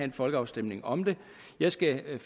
en folkeafstemning om det jeg skal